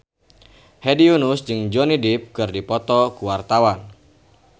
Hedi Yunus jeung Johnny Depp keur dipoto ku wartawan